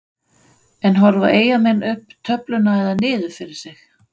En horfa Eyjamenn upp töfluna eða niður fyrir sig?